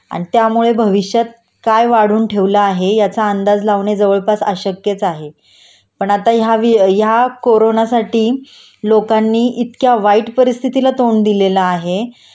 आणि त्यामुळे भविष्यात काय वाढून ठेवलं आहे याचा अंदाज लावणे जवळपास अशक्यच आहे पण आता ह्या वि ह्या कोरोनासाठी लोकांनी इतक्या वाईट परिस्थितीला तोंड दिलेलं आहे